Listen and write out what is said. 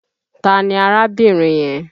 Ta ni arábìnrin yẹn?